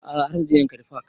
A'a har na je yankari park